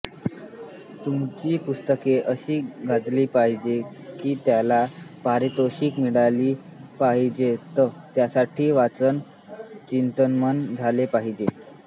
तुमची पुस्तके अशी गाजली पाहिजेत कीत्याला पारितोषीके मिळाली पाहिजेतत्यासाठी वाचन चिंतनमनन झाले पाहिजे